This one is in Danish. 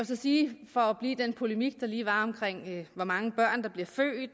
så sige for at blive i den polemik der lige var omkring hvor mange børn